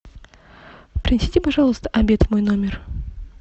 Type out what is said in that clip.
принесите пожалуйста обед в мой номер